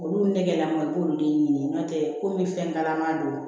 Olu nɛgɛnna i b'olu de ɲini n'o tɛ komi fɛn kalaman don